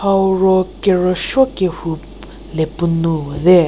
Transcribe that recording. hau ro kerüshuo kehu le puo nou puo te.